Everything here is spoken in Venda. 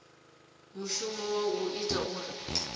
mushumo wa u ita uri